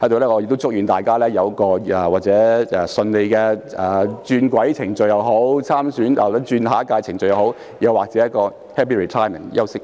我在此祝願大家有一個順利的轉軌程序或參選下一屆的程序，又或者 happy retirement 和休息。